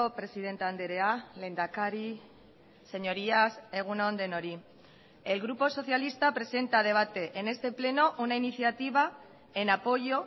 presidente andrea lehendakari señorías egun on denoi el grupo socialista presenta a debate en este pleno una iniciativa en apoyo